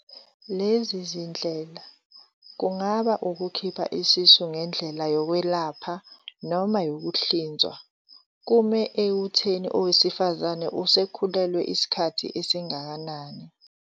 Lezi zindlela, kungaba ukukhipha isisu ngendlela yokwelapha noma yokuhlinzwa, kume ekuthini owesifazane usekhulelwe isikhathi esingakanani.